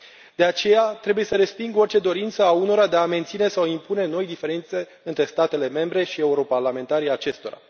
De aceea, trebuie să resping orice dorință a unora de a menține sau impune noi diferențe între statele membre și europarlamentarii acestora.